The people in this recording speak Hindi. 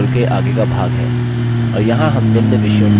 और यहाँ हम निम्न विषयों को सीखेंगे: